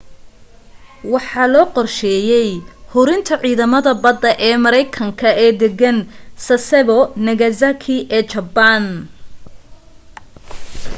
waxa loo qorsheeyay hurinta ciidamada badda ee maraykanka ee deggan sasebo nagasaki ee jabbaan